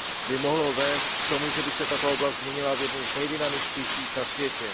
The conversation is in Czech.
by mohlo vést k tomu, že by se tato oblast změnila v jednu z nejdynamičtějších na světě.